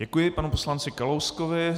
Děkuji panu poslanci Kalouskovi.